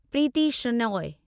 Preeti Shenoy